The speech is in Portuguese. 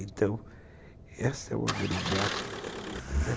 Então, essa é uma grande arma da vida, né?